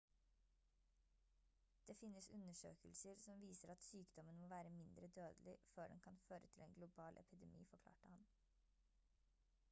det finnes undersøkelser som viser at sykdommen må være mindre dødelig før den kan føre til en global epidemi forklarte han